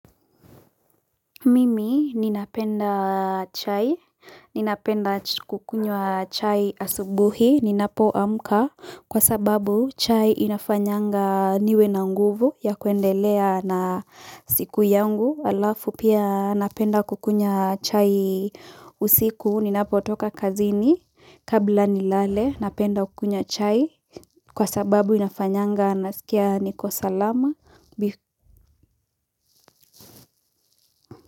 Mimi ninapenda chai ninapenda kukunywa chai asubui baada ya kuamka kwa sababu chai inafanyanga niwe na nguvu ya kuendelea na siku yangu alafu pia napenda kukunywa chai usiku ninapo toka kazini kabla nilale napenda kukunywa chai. Kwa sababu inafanyanga nasikia niko salama bi.